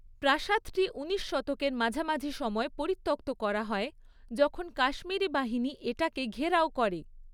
প্রাসাদটি উনিশ শতকের মাঝামাঝি সময়ে পরিত্যক্ত করা হয়, যখন কাশ্মীরি বাহিনী এটাকে ঘেরাও করে।